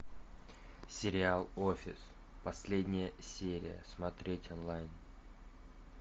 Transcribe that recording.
сериал офис последняя серия смотреть онлайн